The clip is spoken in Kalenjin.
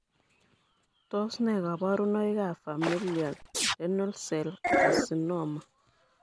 Tos nee koborunoikab Familial renal cell carcinoma?